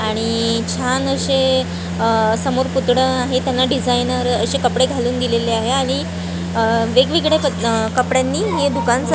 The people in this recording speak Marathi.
आणि छान अशे अ समोर पुतळे आहे त्यांना डिजाइनर अशे कपडे घालून दिलेले आहे आणि अ वेगवेगळ्या अ कपड्यांनी हे दुकान --